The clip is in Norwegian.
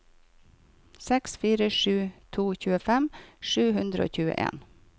seks fire sju to tjuefem sju hundre og tjueen